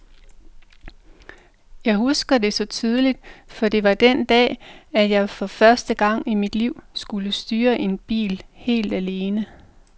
Jeg husker det så tydeligt, for det var den dag, at jeg for første gang i mit liv skulle styre en bil helt alene.